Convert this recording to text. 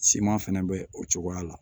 Siman fɛnɛ bɛ o cogoya la